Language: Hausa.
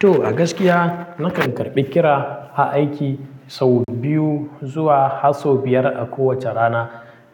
To a gaskiya nakan karbi kira a aiki sau biyu zuwa har sau biyar a kowace rana.